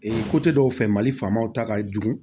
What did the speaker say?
dɔw fɛ mali faamaw ta ka jugu